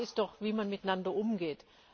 Die Frage ist doch, wie man miteinander umgeht.